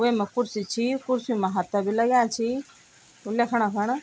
वेमा कुर्सी छी कुर्सियों मा हत्था बि लग्यां छी ल्याखणा खण।